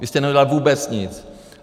Vy jste neudělali vůbec nic!